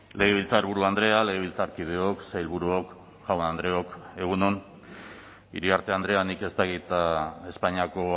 legebiltzarburu andrea legebiltzarkideok sailburuok jaun andreok egun on iriarte andrea nik ez dakit espainiako